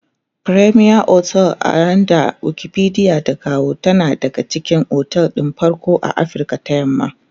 fremier otel a yanda Wikipedia ta kawo tana daga cikin otel ɗin farko a Afrika ta yamma